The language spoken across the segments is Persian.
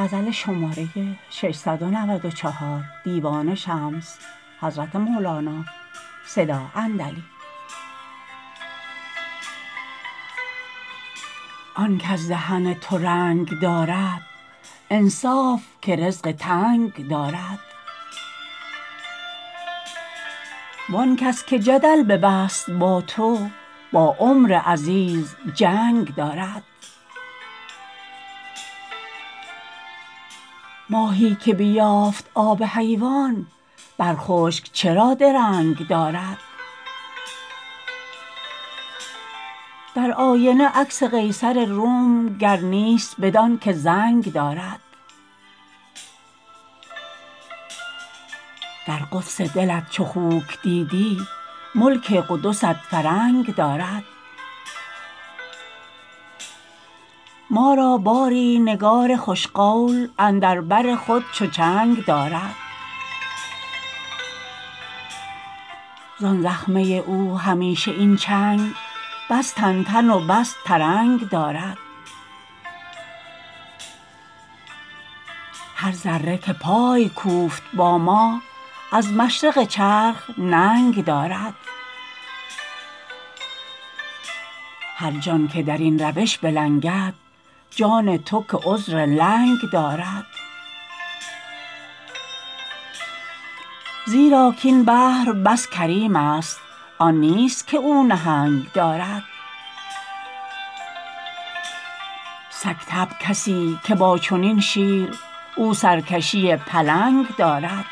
آن کز دهن تو رنگ دارد انصاف که رزق تنگ دارد وان کس که جدل ببست با تو با عمر عزیز جنگ دارد ماهی که بیافت آب حیوان بر خشک چرا درنگ دارد در آینه عکس قیصر روم گر نیست بدانک زنگ دارد در قدس دلت چو خوک دیدی ملک قدست فرنگ دارد ما را باری نگار خوش قول اندر بر خود چو چنگ دارد زان زخمه او همیشه این چنگ پس تن تن و بس ترنگ دارد هر ذره که پای کوفت با ما از مشرق چرخ ننگ دارد هر جان که در این روش بلنگد جان تو که عذر لنگ دارد زیرا کاین بحر بس کریمست آن نیست که او نهنگ دارد سگ طبع کسی که با چنین شیر او سرکشی پلنگ دارد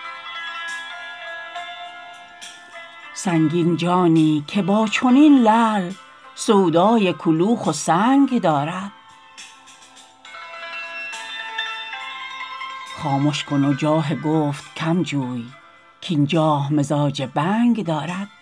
سنگین جانی که با چنین لعل سودای کلوخ و سنگ دارد خامش کن و جاه گفت کم جوی کاین جاه مزاج بنگ دارد